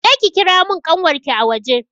Je ki ki kira mun ƙanwarki a waje!